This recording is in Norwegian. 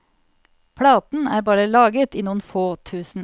Platen er bare laget i noen få tusen.